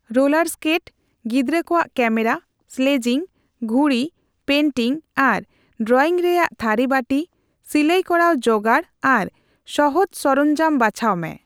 Roller skate, ᱜᱤᱫᱽᱨᱟᱹ ᱠᱚᱣᱟᱜ camera, sledging, ᱜᱷᱩᱲᱤ, ᱯᱮᱱᱴᱤᱝ ᱟᱨ ᱰᱨᱚᱭᱤᱝ ᱨᱮᱭᱟᱜ ᱛᱷᱟᱨᱤ ᱵᱟᱨᱤ, ᱥᱤᱞᱟᱹᱭ ᱠᱚᱨᱟᱣ ᱡᱚᱜᱟᱲ ᱟᱨ ᱥᱚᱦᱚᱡ ᱥᱚᱨᱚᱢᱡᱟᱢ ᱵᱟᱪᱷᱟᱣ ᱢᱮ ᱾